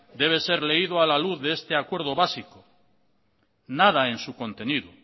debe ser leído a la luz de este acuerdo básico nada en su contenido